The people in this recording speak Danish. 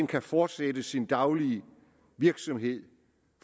kan fortsætte sin daglige virksomhed